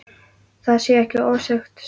Það sé ekki ofsögum sagt.